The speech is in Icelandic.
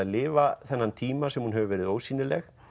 lifað þennan tíma sem hún hefur verið ósýnileg